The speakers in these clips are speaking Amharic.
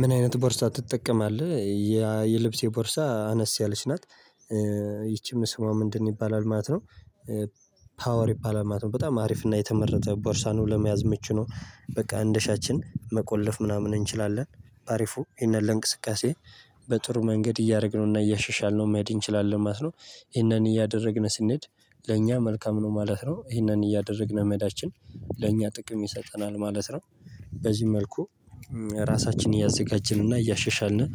ምን አይነት ቦርሳ ትጠቀማለህ? የልብሴ ቦርሳ አነስ ያለች ናት። ይቺም ስሟ ምንድን ይባላል ማለት ነው? ፓወር ይባላል ማለት ነው በጣም አሪፍ እና የተመረጠ ቦርሳ ነው። ለመያዝ ምቹ ነው በቃ አንዳሻችን መቆለፍ ምናምን እንችላለን በአሪፉ ይሄንን ለእንቅስቃሴ በጥሩ መንገድ እያደረግነውና እያሻሻልነው መሄድ እንችላለን ማለት ነው። ይሄንን እያደረግን ስንሄድ ለእኛ መልካም ነው ማለት ነው ይሄንን እያደረግን መሄዳችን ለእኛ ጥቅም ይሰጠናል ማለት ነው። በዚህ መልኩ ራሳችንን እያዘጋጀን እና እያሸሻልን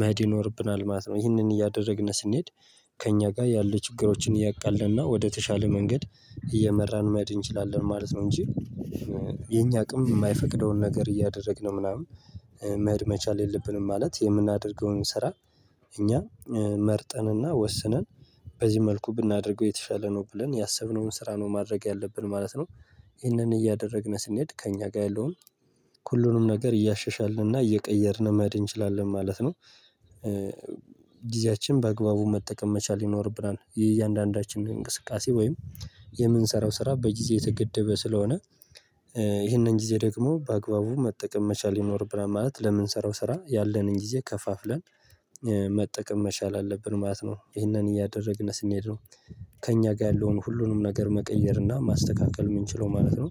መሄድ ይኖርብናል ማለት ነው። ይህንን እያደረግን ስንሄድ ከእኛ ጋር ያለ ችግሮችን እያቃለልን ወደተሻለ መንገድ እየመራን መሄድ እንችላለን ማለት ነው። እንጂ የኛ አቅም የማይፈቅደውን ነገር እያደረግን ምናምን መሄድ መቻል የለብንም ማለት የምናደርገውን ስራ። እኛ መርጠንና ወስነን በዚህ መልኩ ብናደርገው የተሻለ ነው ብለን ያሰብነውን ስራ ነው ማድረግ ያለብን ማለት ነው። ይህንን እያደረግን ስንሄድ ከእኛ ጋር ያለውን ሁሉንም ነገር እያሸሻልንና እየቀየርን መሄድ እንችላለን ማለት ነው። ጊዜያችን በአግባቡ መጠቀም መቻል ይኖርብናል የእያንዳንዳችን እንቅስቃሴ ወይም የምንሰራው ስራ በጊዜ የተገደበ ስለሆነ። ይሄንን ጊዜ ደግሞ በአግባቡ መጠቀም መቻል ይኖርብናል ማለት ለምንሰራው ስራ ያለንን ጊዜ ከፋፍለን መጠቀም መቻል አለብን ማለት ነው ይህንን እያደረግን ስንሄድ ነው። ከእኛ ጋር ያለውን ሁሉንም ነገር መቀየር እና ማስተካከል እምንችለው ማለት ነው።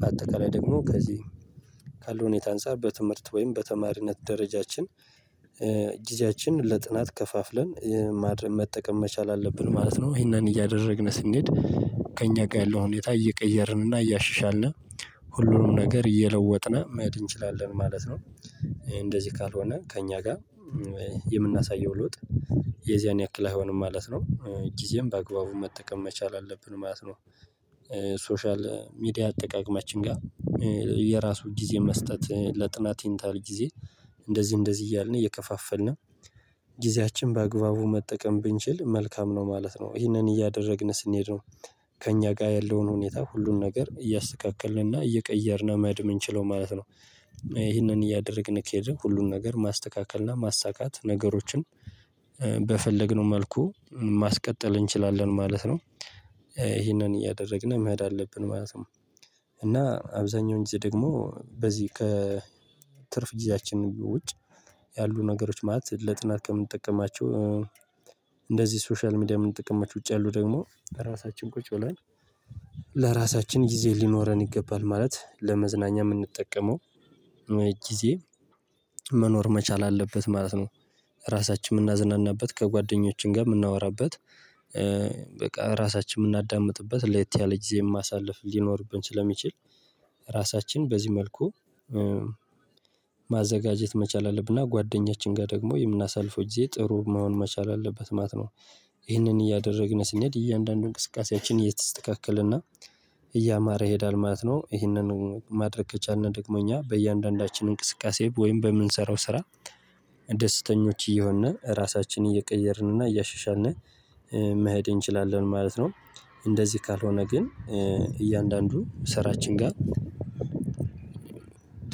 በአጠቃላይ ደግሞ ከዚህ ካለው ሁኔታ አንፃር በትምህርት ወይም በተማሪነት ደረጃችን ጊዜያችን ለጥናት ከፋፍለን ማድረግ መጠቀም መቻል አለብን ማለት ነው። ይሄንን እያደረግን ስንሄድ ከእኛ ጋር ያለው ሁኔታ እየቀየርን እያሻሻልን ሁሉንም ነገር እየለወጥን መሄድ እንችላለን ማለት ነው። እንደዚህ ካልሆነ ከእኛ ጋር የምናሳየው ለውጥ የዚያን ያክል አይሆንም ማለት ነው። ጊዜን በአግባቡ መጠቀም መቻል አለብን ማለት ነው። ሶሻል ሚዲያ አጠቃቀማችን ጋር የራሱ ጊዜ መስጠት ለጥናት ይህን ታህል ጊዜ እንደዚህ እንደዚህ እያልን እየከፋፈልን ጊዜያችን በአግባቡ መጠቀም ብንችል መልካም ነው ማለት ነው ይሄንን እያደረግን ስንሄድ ነው። ከእኛ ጋር ያለውን ሁኔታ ሁሉን ነገር እያስተካከልንና እየቀየርን መሄድ እምንችለው ማለት ነው። ይሄንን እያደረግን ከሄድን ሁሉን ነገር ማስተካከልና ማሳካት ነገሮችን በፈለግነው መልኩ ማስቀጠል እንችላለን ማለት ነው። ይሄንን እያደረግን መሄድ አለብን ማለት ነው። እና አብዛኛውን ጊዜ ደግሞ በዚህ ከትርፍ ጊዜያችን ውጭ ያሉ ነገሮች ማለት ለጥናት ከምንጠቀማቸው እንደዚህ ሶሻል ሚዲያ እምንጠቀምባቸው ውጪ ያሉ ደግሞ ራሳችን ቁጭ ብለን ለራሳችን ጊዜ ሊኖረን ይገባል ማለት ለመዝናኛ እምንጠቀመው ጊዜ መኖር መቻል አለበት ማለት ነው። ራሳችን እምናዝናናበት ከጓደኞችን ጋር እምናወራበት በቃ ራሳችን እምናዳምጥበት ለየት ያለ ጊዜ ማሳልፍ ሊኖርብን ስለሚችል ራሳችን በዚህ መልኩ ማዘጋጀት መቻል አለብንና ጓደኛችን ጋር ደግሞ የምናሳልፈው ጊዜ ጥሩ መሆን መቻል አለበት ማለት ነው። ይህንን እያደረግን ስንሄድ እያንዳንዱን እንቅስቃሴያችን እየተስተካከለና እያማረ ይሄዳል ማለት ነው። ይሄንን ማድረግ ከቻልን ደግሞ እኛ በእያንዳንዳችን እንቅስቃሴ ወይም በምንሰራው ስራ ደስተኞች እየሆን ራሳችን እየቀየርንና እያሸሻልን መሄድ እንችላለን ማለት ነው። እንደዚህ ካልሆነ ግን እያንዳንዱ ስራችን ጋር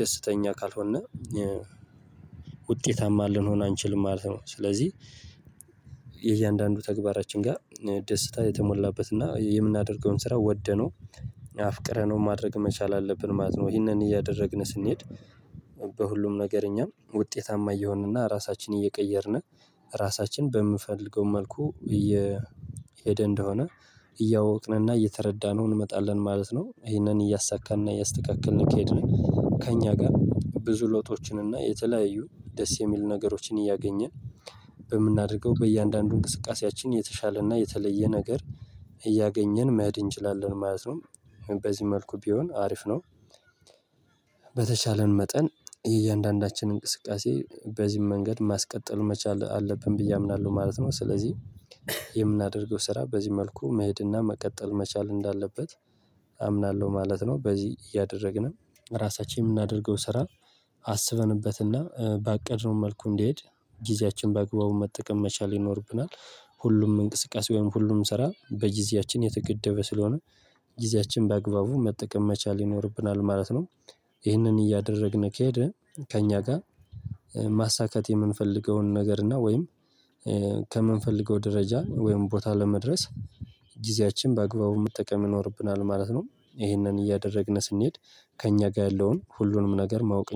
ደስተኛ ካልሆን ውጤታማ ልንሆን አንችልም ማለት ነው። ስለዚህ የእያንዳንዱ ተግባራችን ጋር ደስታ የተሞላበት እና የምናደርገውን ስራ ወደነው አፍቅረነው ማድረግ መቻል አለብን ማለት ነው። ይሄንን እያደረግን ስንሄድ በሁሉም ነገር እኛም ውጤታማ እየሆንና ራሳችን እየቀየርን ራሳችን በምንፈልገው መልኩ እየሄደ እንደሆነ እያወቅንና እየተረዳነው እንመጣለን ማለት ነው። ይሄንን እያሳካንና እያስተካከልን ከሄድን ከእኛ ጋር ብዙ ለውጦችንና የተለያዩ ደስ የሚሉ ነገሮችን እያገኘን በምናደርገው በእያንዳንዱ እንቅስቃሴያችን የተሻለና የተለየ ነገር እያገኘን መሄድ እንችላለን ማለት ነው። በዚህ መልኩ ቢሆን አሪፍ ነው። በተቻለን መጠን የእያንዳንዳችን እንቅስቃሴ በዚህም መንገድ ማስቀጠል መቻል አለብን ብዬ አምናለሁ ማለት ነው። ስለዚህ የምናደርገው ስራ በዚህ መልኩ መሄድና መቀጠል መቻል እንዳለበት አምናለሁ ማለት ነው። በዚህ እያደረግን ራሳችን የምናደርገው ስራ አስበንበትና ባቀድነው መልኩ እንዲሄድ ጊዜያችን በአግባቡ መጠቀም መቻል ይኖርብናል። ሁሉም እንቅስቃሴ ወይም ሁሉም ስራ በጊዜያችን የተገደበ ስለሆነ ጊዜያችን በአግባቡ መጠቀም መቻል ይኖርብናል ማለት ነው። ይህንን እያደረግን ከሄደን ከእኛ ጋር ማሳካት የምንፈልገውን ነገር እና ወይም ከምንፈልገው ደረጃ ወይም ቦታ ለመድረስ ጊዜያችን በአግባቡ መጠቀም ይኖርብናል ማለት ነው። ይሄንን እያደረግን ስንሄድ ከእኛ ጋር ያለውን ሁሉንም ነገር ማወቅ